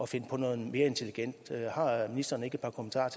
finde på noget mere intelligent har ministeren ikke et par kommentarer